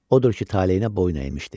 Odur ki, taleyinə boyun əymişdi.